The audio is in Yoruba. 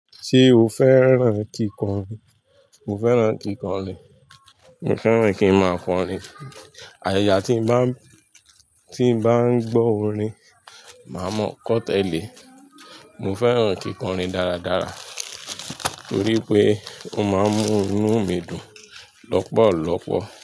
Ṣé o fẹ́ràn kíkọrin? Mo fẹ́ràn kíkọrin, mo fẹ́ràn kí ń má a kọrin. Ayata tí ń bá, tí ń bá ń gbọ́ orin, màá mọ ọ́ kọ́ tẹ́lẹ̀. Mo fẹ́ràn kíkọrin dáradára torí pé ó máa ń mú inú mi dùn lọ́pọ̀lọpọ̀.